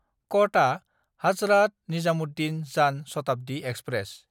कथा–हाजरात Nizamuddin Jan Shatabdi express